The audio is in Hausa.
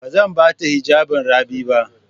Ba zan ba ta hijabin Rabi ba.